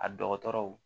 A dɔgɔtɔrɔw